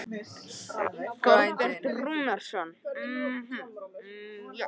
Þorbjörn Rúnarsson.